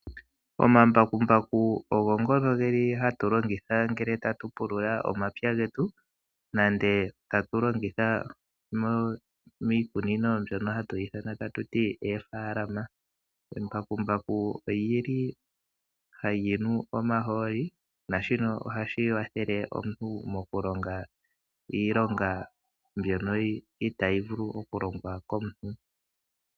Omambakumbaku ogo ngono geli hatu longitha ngele tatu pulula omapya getu nenge tatu galongitha miikunino mbyono hatuyi ithana tatuti eefaalama. Embakumbaku olyili halyinu omahooli naashino ohashi watele omuntu mokulonga iilonga mbyono itaayi vulu okulongwa komuntu.